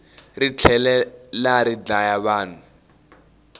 ri tlhelari dlaya vanhu